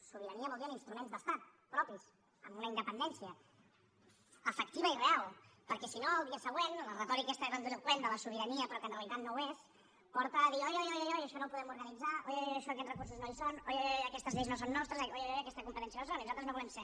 sobirania vol dir amb instruments d’estat propis amb una independència efectiva i real perquè si no al dia següent la retòrica aquesta grandiloqüent de la sobirania però que en realitat no ho és porta a dir oi oi oi això no ho podem organitzar oi oi oi això aquests recursos no hi són oi oi oi aquestes lleis no són nostres oi oi oi aquestes competències no ho són i nosaltres no ho volem ser